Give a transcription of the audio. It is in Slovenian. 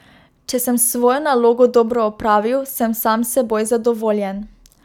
Če sem svojo nalogo dobro opravil, sem sam s seboj zadovoljen.